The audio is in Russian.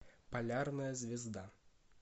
полярная звезда